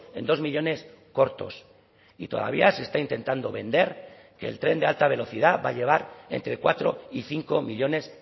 en dos millónes cortos y todavía se está intentando vender que el tren de alta velocidad va a llevar entre cuatro y cinco millónes